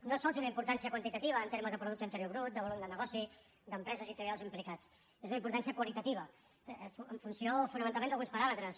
no sols una importància quantitativa en termes de producte interior brut de volum de negoci d’empreses i treballadors implicats és una importància qualitativa en funció fonamentalment d’alguns paràmetres